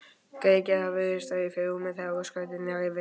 Gereyðingin virðist vera í fyrirrúmi, þegar ósköpin dynja yfir.